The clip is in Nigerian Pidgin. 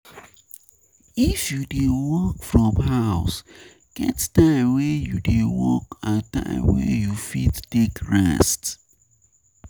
If you dey work from house get time wey you dey work and time wey you fit take rest.